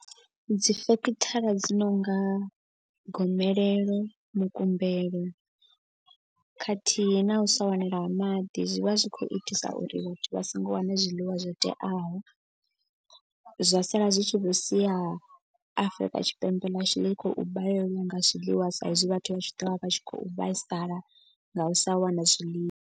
Dzi sekithara dzi nonga gomelelo, mukumbelo khathihi na u sa wanala ha maḓi zwi vha zwi khou itisa uri vhathu vha songo wane zwiḽiwa zwo teaho. Zwa sala zwi tshi vho sia Afurika Tshipembe ḽashu ḽi khou balelwa nga zwiḽiwa. Sa izwi vhathu vha tshi ḓovha vha tshi khou vhaisala nga u sa wana zwiḽiwa.